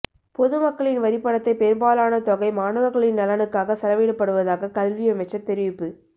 பொதுமக்களின் வரிப்பணத்தை பெரும்பாலான தொகை மாணவர்களின் நலனுக்காக செலவிடப்படுவதாக கல்வியமைச்சர் தெரிவிப்பு